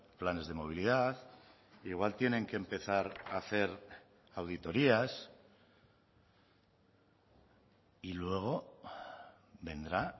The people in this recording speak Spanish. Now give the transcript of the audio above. planes de movilidad igual tienen que empezar a hacer auditorías y luego vendrá